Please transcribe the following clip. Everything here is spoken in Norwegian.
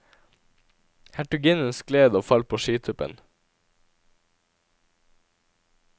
Hertuginnen skled og falt på skituppen.